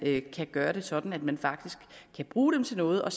kan gøre det sådan at man faktisk kan bruge dem til noget og